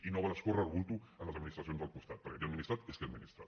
i no val escórrer el bulto en les administracions del costat perquè qui ha administrat és qui administra